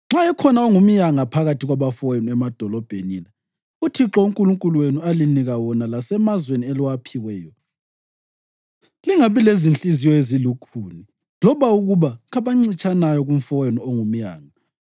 Nxa ekhona ongumyanga phakathi kwabafowenu emadolobheni la uThixo uNkulunkulu wenu alinika wona lasemazweni eliwaphiweyo, lingabi lezinhliziyo ezilukhuni loba ukuba ngabancitshanayo kumfowenu ongumyanga.